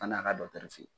An'a ka dɔkitɛriso